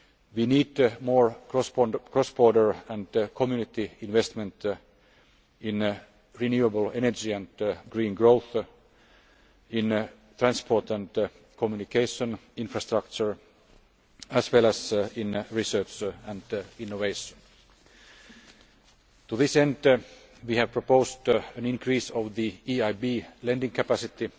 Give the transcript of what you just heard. We need more cross border and Community investment in renewable energy and green growth, in transport and communication infrastructure, as well as in research and innovation. To this end, we have proposed an increase in the EIB's lending capacity.